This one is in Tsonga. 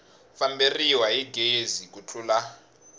famberiwa hi gezi ku tlula